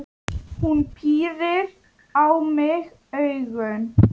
Hún pírir á mig augun.